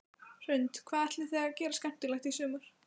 Hrund: Hvað ætlið þið að gera skemmtilegt í sumar?